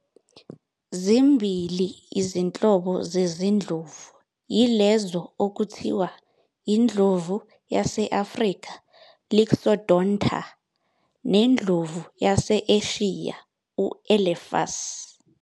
Zimbili izinhlobo zezindlovu, yilezo okuthiwa indlovu yase-Afrika ", Loxodonta" nendlovu yase-Eshiya ", Elephas.